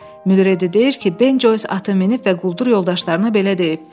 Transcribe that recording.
Müdir dedi ki, Ben Joys atı minib və quldur yoldaşlarına belə deyib: